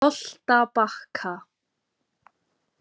Holtabakka